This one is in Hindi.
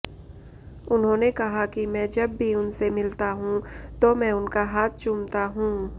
उन्होंने कहा कि मैं जब भी उनसे मिलता हूं तो उनका हाथ चूमता हूं